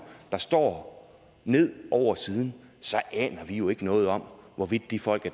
der står ned over siden aner vi jo ikke noget om hvorvidt de folk